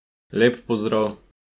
Lep pozdrav!